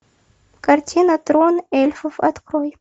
картина трон эльфов открой